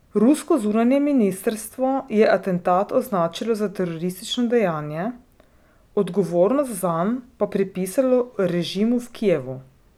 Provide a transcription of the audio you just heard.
Rusko zunanje ministrstvo je atentat označilo za teroristično dejanje, odgovornost zanj pa pripisalo režimu v Kijevu.